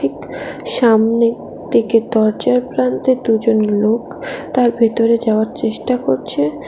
সামনে দিকে দরজার প্রান্তে দুজন লোক তার ভেতরে যাওয়ার চেষ্টা করছে।